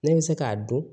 Ne bɛ se k'a dɔn